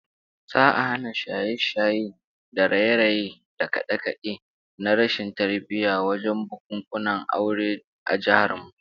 Za'a hana yawan shaye-shaye da raye-raye da kade-kade na rashin tarbiyya wajen bukunkunan aure a jihar mu